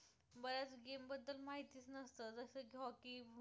जसं की hockey